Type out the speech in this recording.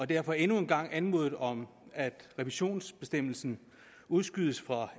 derfor endnu en gang anmodet om at revisionsbestemmelsen udskydes fra